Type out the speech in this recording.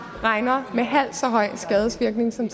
regner med halvt så høj en skadevirkning som